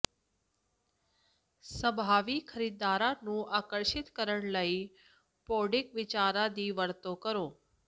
ਸੰਭਾਵੀ ਖਰੀਦਦਾਰਾਂ ਨੂੰ ਆਕਰਸ਼ਿਤ ਕਰਨ ਲਈ ਭੌਡਿੰਗ ਵਿਚਾਰਾਂ ਦੀ ਵਰਤੋਂ ਕਰੋ